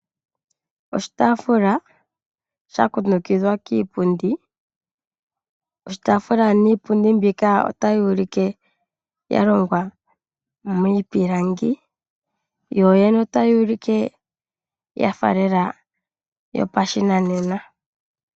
Oshitafula sha kundukidhwa kiipundi. Oshitafula shika niipundi otayi ulike ya longwa miipilangi. Yo yene otayi ulike yafa lela yopashinanena.